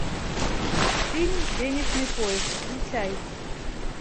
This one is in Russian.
фильм денежный поезд включай